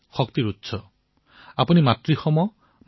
য়ো ৱঃ শিৱতমো ৰসঃ তস্য ভাজয়তেহ নঃ উষতীৰিৱ মাতৰঃ